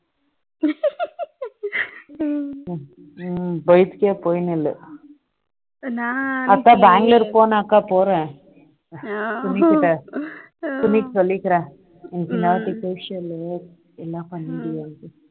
bike போயிட்டு இல்ல நான் அப்பா பெங்களூர் போனாக்கா போறேன் துணிகிட்ட துணிக்கு சொல்லி இருக்கிறேன் நான் negotiable எல்லாம் பண்ணிடுவேன் என